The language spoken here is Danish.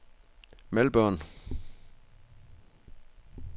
Melbourne